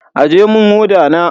Aje mun hoda na.